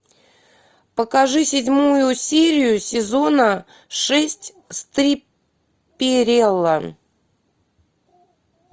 покажи седьмую серию сезона шесть стриперелла